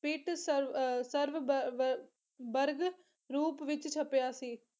ਪਿਟ ਸਰਵ ਅਹ ਸਰਵ ਬ ਬ ਬਰਗ ਰੂਪ ਵਿੱਚ ਛਪਿਆ ਸੀ